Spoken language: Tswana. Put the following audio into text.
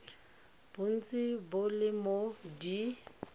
bontsi bo le mo d